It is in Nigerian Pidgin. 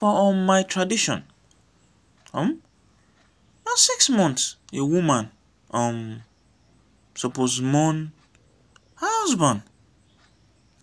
for um my tradition um na six months a woman um suppose mourn her husband.